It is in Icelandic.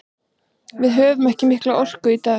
Við höfðum ekki mikla orku í dag.